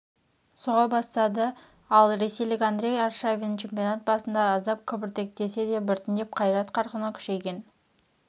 соға бастады ал ресейлік андрей аршавин чемпионат басында аздап кібіртіктесе де біртіндеп қайрат қарқыны күшейген